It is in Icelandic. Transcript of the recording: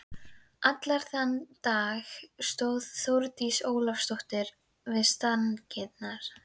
Allan þann dag stóð Þórdís Ólafsdóttir við stangirnar.